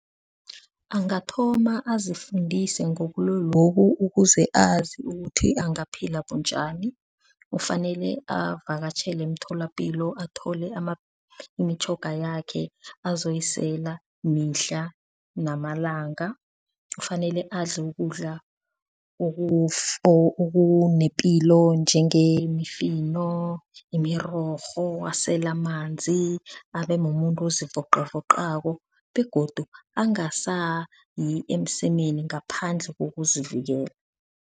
Angathoma azifundise ngobulwelobu ukuze azi ukuthi angaphila bunjani? Kufanele avakatjhele emtholapilo athole imitjhoga yakhe azoyisela mihla namalanga. Kufanele adle ukudla okunepilo njengemifino, imirorho, asele amanzi. Abe mumuntu ozivocavocako begodu angasayi emsemeni ngaphandle kokuzivikela.